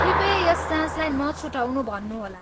कृपया यस जाँचलाई नछुटाउनु भन्नुहोला।